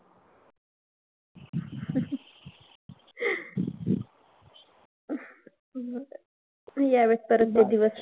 हम्म यावेत परत ते दिवस.